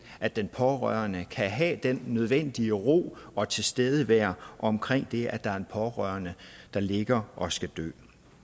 at den pårørende kan have den nødvendige ro og tilstedeværelse omkring det at der er en pårørende der ligger og skal dø